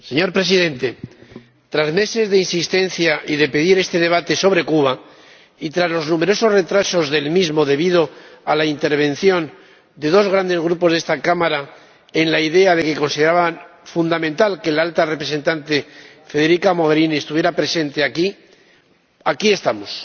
Señor Presidente, tras meses de insistencia y de pedir este debate sobre Cuba, y tras los numerosos retrasos del mismo debido a la intervención de dos grandes Grupos de esta Cámara, que consideraban fundamental que la Alta Representante, Federica Mogherini, estuviera presente aquí, aquí estamos